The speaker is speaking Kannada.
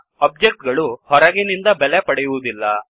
ಒಬ್ಜೆಕ್ಟ್ ಗಳು ಹೊರಗಿನಿಂದ ಬೆಲೆ ಪಡೆಯುವುದಿಲ್ಲ